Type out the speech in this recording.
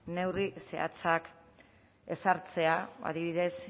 neurri zehatzak ezartzea adibidez